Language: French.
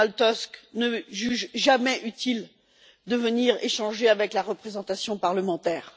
Donald Tusk ne juge jamais utile de venir échanger avec la représentation parlementaire.